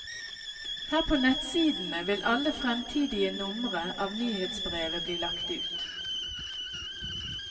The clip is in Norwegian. Her på nettsidene vil alle fremtidige numre av nyhetsbrevet bli lagt ut.